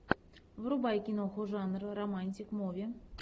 врубай киноху жанр романтик муви